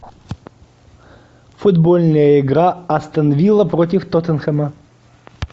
футбольная игра астон вилла против тоттенхэма